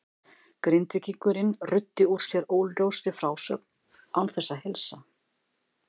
Grindvíkingurinn ruddi úr sér óljósri frásögn án þess að heilsa.